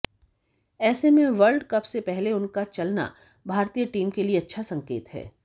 ऐसे में world cup से पहले उनका चलना भारतीय टीम के लिए अच्छा संकेत है